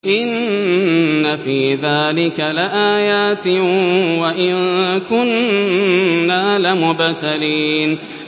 إِنَّ فِي ذَٰلِكَ لَآيَاتٍ وَإِن كُنَّا لَمُبْتَلِينَ